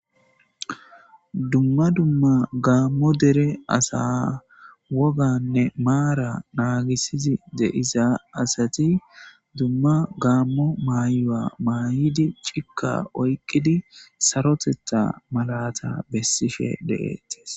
dumma dumma gaammo dere asa woganne maara naagisizi de'iza asati dumma gaammo maayua maayidi cikka oykkidi sarotetha malata bessishe deetis